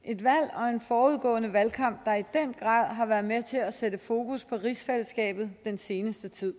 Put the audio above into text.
og en forudgående valgkamp der i den grad har været med til at sætte fokus på rigsfællesskabet den seneste tid